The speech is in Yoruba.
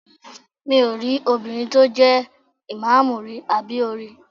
Mi ò rí obìnrin tó jẹ́ ìmáàmù rí, àbí o rí?